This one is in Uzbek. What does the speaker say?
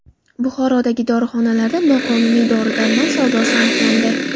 Buxorodagi dorixonalarda noqonuniy dori-darmon savdosi aniqlandi.